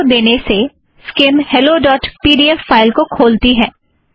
इस आदेश को देने से skim hello dot P D F file को खोलती है